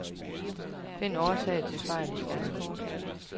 Find årsag til fejl i skærmkort.